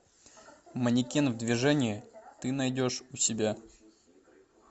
манекен в движении ты найдешь у себя